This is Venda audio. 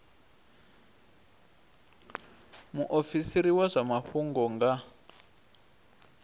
muofisiri wa zwa mafhungo nga